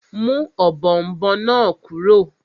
Mú ọ̀bọ̀ọ̀nbọọ̀n náà kúrò!